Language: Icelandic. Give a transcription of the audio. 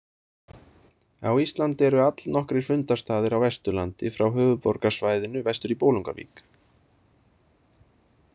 Á Íslandi eru allnokkrir fundarstaðir á Vesturlandi frá höfuðborgarsvæðinu vestur í Bolungarvík.